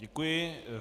Děkuji.